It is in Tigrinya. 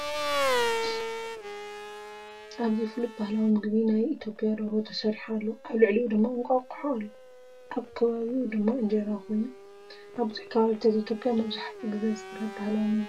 ኣብዚ ፍሉጥ ባህላዊ ምግቢ ናይ ኢትዮጵያ ደርሆ ተሰሪሑ ኣሎ። ኣብ ልዕሊኡ ድማ እንቋቑሖ ኣሎ። ኣብ ከባቢኡ ድማ እንጀራ ኮይኑ፡ ኣብ ብዙሕ ከባቢታት ኢትዮጵያን መብዛሕትኡ ግዜ ዝቐርብ ባህላዊ ምግቢ እዩ።